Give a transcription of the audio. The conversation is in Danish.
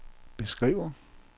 beskriver